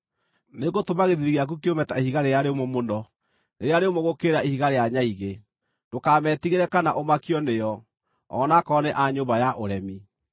Nĩngũtũma gĩthiithi gĩaku kĩũme ta ihiga rĩrĩa rĩũmũ mũno, rĩrĩa rĩũmũ gũkĩra ihiga rĩa nyaigĩ. Ndũkametigĩre kana ũmakio nĩo, o na akorwo nĩ a nyũmba ya ũremi.”